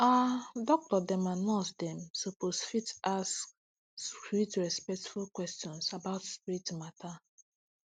ah doctor dem and nurse dem suppose fit ask sweet respectful question about spirit matter